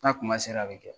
N'a kuma sera a bɛ kɛ